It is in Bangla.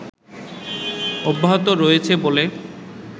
অব্যাহত রয়েছে বলে